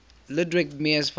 ludwig mies van